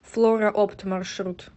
флораопт маршрут